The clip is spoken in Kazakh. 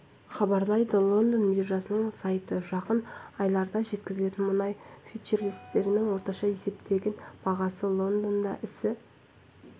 хабарлайды лондон биржасының сайты жақын айларда жеткізілетін мұнай фьючерстерінің орташа есептеген бағасы лондонда ісі